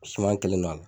Suma kelen don a la